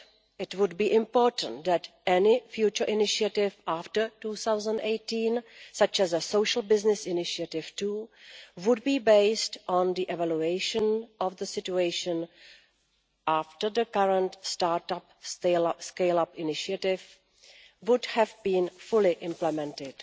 It would be important for any future initiative after 2018, such as a Social Business Initiative II, to be based on the evaluation of the situation after the current Start up and Scale up initiative has been fully implemented.